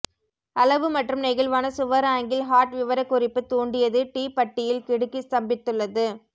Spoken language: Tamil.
அளவு மற்றும் நெகிழ்வான சுவர் ஆங்கிள் ஹாட் விவரக்குறிப்பு தூண்டியது டி பட்டியில் கிடுக்கி ஸ்தம்பித்துள்ளது